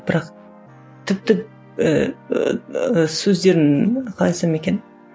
бірақ тіпті ііі сөздерін қалай айтсам екен